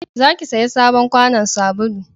za ki saya sabon kwanon sabulu!